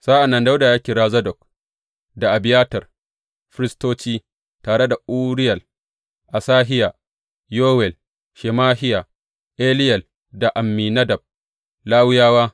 Sa’an nan Dawuda ya kira Zadok da Abiyatar, firistoci, tare da Uriyel, Asahiya, Yowel, Shemahiya, Eliyel da Amminadab, Lawiyawa.